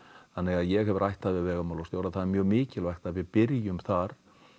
þannig að ég hef rætt það við vegamálastjóra það er mjög mikilvægt að við byrjum þar